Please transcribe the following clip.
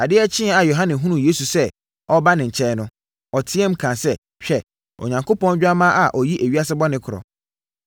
Adeɛ kyeeɛ a Yohane hunuu Yesu sɛ ɔreba ne nkyɛn no, ɔteaam kaa sɛ, “hwɛ, Onyankopɔn Dwammaa a ɔyi ewiase bɔne korɔ no!